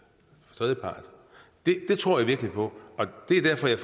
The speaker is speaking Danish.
tredjeparter det tror jeg virkelig på og det er derfor jeg